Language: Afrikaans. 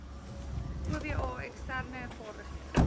oba eksterne vaardighede